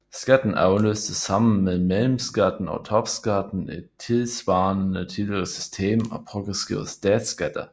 Skatten afløste sammen med mellemskatten og topskatten et tilsvarende tidligere system af progressive statsskatter